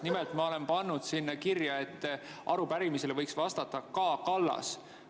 Nimelt, ma olen pannud kirja, et arupärimisele võiks vastata K. Kallas.